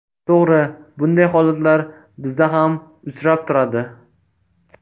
To‘g‘ri, bunday holatlar bizda ham uchrab turadi.